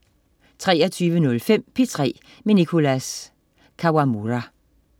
23.05 P3 med Nicholas Kawamura